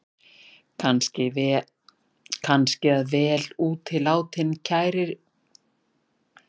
Kannski að vel útilátin kæruleysissprauta dugi, sagði læknirinn og stakk pennanum í brjóstvasann.